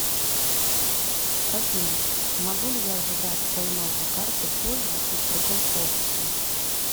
афина могу ли я забрать свою новую карту позже и в другом офисе